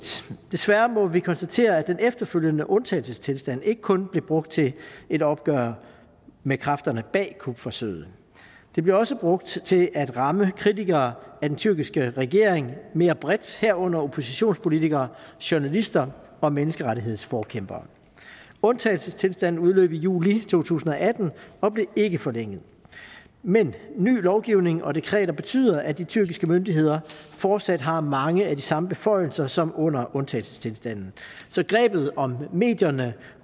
desværre må vi konstatere at den efterfølgende undtagelsestilstand ikke kun blev brugt til et opgør med kræfterne bag kupforsøget det blev også brugt til at ramme kritikere af den tyrkiske regering mere bredt herunder oppositionspolitikere journalister og menneskerettighedsforkæmpere undtagelsestilstanden udløb i juli to tusind og atten og blev ikke forlænget men ny lovgivning og dekreter betyder at de tyrkiske myndigheder fortsat har mange af de samme beføjelser som under undtagelsestilstanden så grebet om medierne